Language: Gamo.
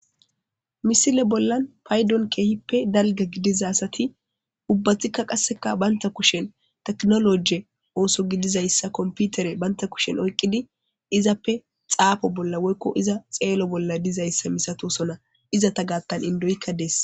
misile bollan paydon keehippe dalga gidiza asati ubbathikka qasseka baynta kushen teknoloje ooso gidizayssa komputere baynta kushen oyqqidi izappe xaafo bolla woykko iza xeelo bolla dizayssa misatosona iza ta gaattan indoyikka dees